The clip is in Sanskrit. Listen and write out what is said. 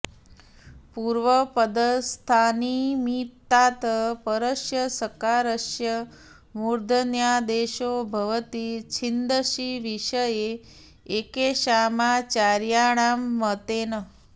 पूर्वपदस्थान्निमित्तात् परस्य सकारस्य मुर्धन्यादेशो भवति छन्दसि विषये एकेषामाचार्याणां मतेन